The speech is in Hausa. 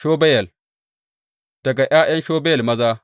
Shubayel; daga ’ya’yan Shubayel maza.